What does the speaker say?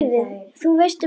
Þú veist, um lífið?